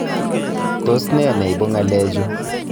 Tos ne neibu ng'alechu